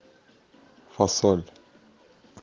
фасоль